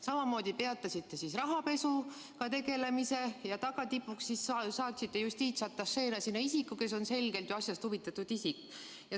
Samamoodi peatasite rahapesu tegelemise ja tagatipuks saatsite justiitsatašeena sinna inimese, kes on selgelt asjast huvitatud isik.